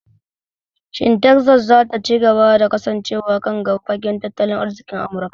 Shin Tekzas za ta ci gaba da kasancewa kan gaba fagen tattalin arzikin Amurka?